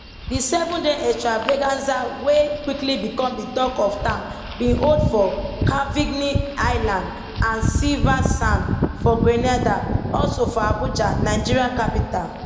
di sevenday extravaganza wey quickly become di tok of town bin hold for calivigny island and silversands for grenada also for abuja nigeria capital